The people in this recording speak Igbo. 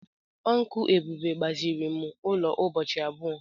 Uncle Ebube gbaziri ụlọ ụbọchị abụọ.